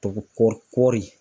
Kɔɔɔri kɔɔri